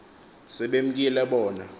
se bemkile bona